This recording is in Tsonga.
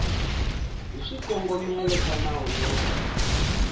hi swikongomelo swa nawu lowu